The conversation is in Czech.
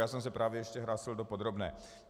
Já jsem se právě ještě hlásil do podrobné.